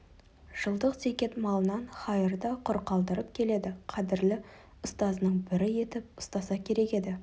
жылдық зекет малынан хайыр да құр қалдырып келеді қадірлі ұстазының бірі етіп ұстаса керек еді